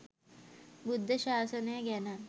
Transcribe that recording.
බුද්ධ ශාසනය ගැන